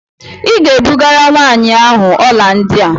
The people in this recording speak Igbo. Ị ga-ebugara nwaanyị ahụ ọla ndị a!